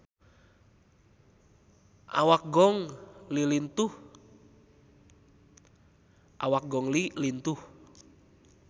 Awak Gong Li lintuh